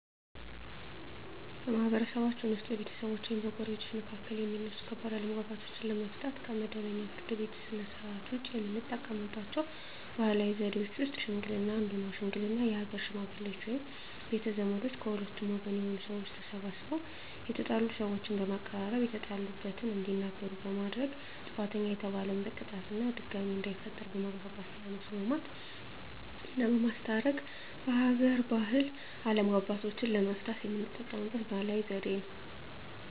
በማህበረሰብችን ውስጥ በቤተሰቦች ወይም በጎረቤቶች መካከል የሚነሱ ከባድ አለመግባባቶችን ለመፍታት (ከመደበኛው የፍርድ ቤት ሥርዓት ውጪ) የምንጠቀምባቸው ባህላዊ ዘዴዎች ውስጥ ሽምግልና አንዱ ነው። ሽምግልና የሀገር ሽመግሌዎች ወይም ቤተ ዘመዶች ከሁለቱም ወገን የሆኑ ሰዎች ተሰባስበው የተጣሉ ሰዎችን በማቀራረብ የተጣሉበትን እንዲናገሩ በማድረግ ጥፋተኛ የተባለን በቅጣት እና ድጋሜ እንዳይፈጠር በማግባባት ማስማማትና በማስታረቅ በሀገር ባህል አለመግባባቶችን ለመፍታት የምንጠቀምበት ባህላዊ ዘዴ ነው።